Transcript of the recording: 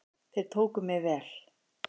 Þeir tóku mér vel.